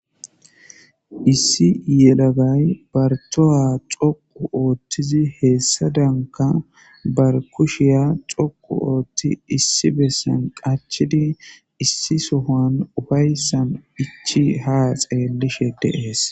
Issi yelagay bartoya coqu ooththizi heessa danka bar kushiya coqu ooththi issi bessan qachidi issi sohan ufayssan ichi ha xeellishe deees.